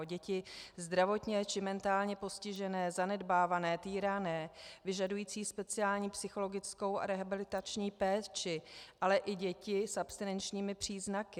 O děti zdravotně či mentálně postižené, zanedbávané, týrané, vyžadující speciální psychologickou a rehabilitační péči, ale i děti s abstinenčními příznaky.